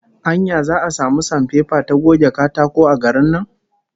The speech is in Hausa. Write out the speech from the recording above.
Anya za'a samu sanpepa ta goge katako a garin nan?